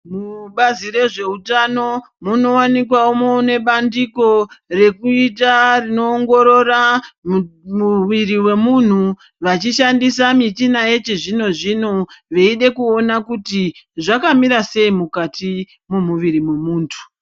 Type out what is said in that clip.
Mubazi rezvehutano, munowanikwawo munebandiko rekuita, rinowongorora muviri wemunhu, vachishandisa michina yechizvino zvino, veyide kuwona kuti zvakamira sei mukati memuviri memuntu.